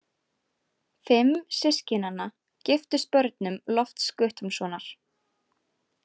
Fimm systkinanna giftust börnum Lofts Guttormssonar.